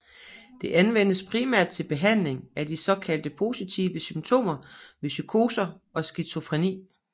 Det anvendes primært til behandling af de såkaldt positive symptomer ved psykoser og skizofreni